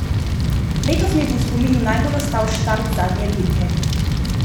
Letos mi bo v spominu najbolj ostal štart zadnje dirke.